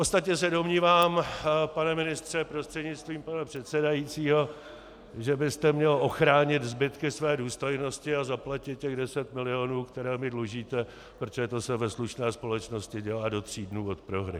Ostatně se domnívám, pane ministře prostřednictvím pana předsedajícího, že byste měl ochránit zbytky své důstojnosti a zaplatit těch deset milionů, které mi dlužíte, protože to se ve slušné společnosti dělá do tří dnů od prohry.